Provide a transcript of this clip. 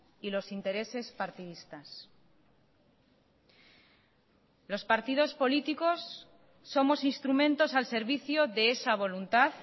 y los intereses partidistas los partidos políticos somos instrumentos al servicio de esa voluntad